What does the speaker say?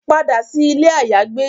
Pada si ile ayagbe